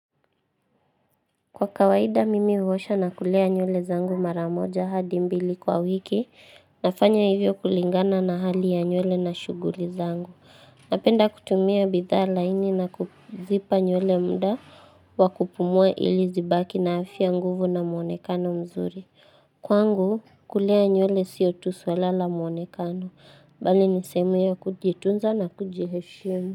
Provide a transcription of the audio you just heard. Kwa kawaida mimi huosha na kulea nywele zangu mara moja hadi mbili kwa wiki, nafanya hivyo kulingana na hali ya nywele na shughuli zangu. Napenda kutumia bidha laini na kuzipa nywele muda, wa kupumua ili zibaki na afya nguvu na mwonekano mzuri. Kwangu kulea nywele sio tu swala la mwonekano, mbali ni sehemu ya kujitunza na kujiheshimu.